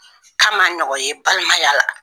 Ka ma ɲɔgɔn ye balimaya la.